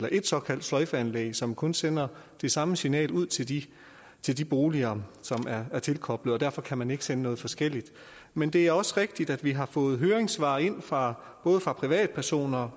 et såkaldt sløjfeanlæg som kun sender det samme signal ud til de til de boliger som er tilkoblet og derfor kan man ikke sende noget forskelligt men det er også rigtigt at vi har fået høringssvar ind fra både privatpersoner